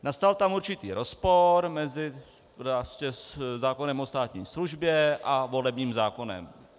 Nastal tam určitý rozpor mezi zákonem o státní službě a volebním zákonem.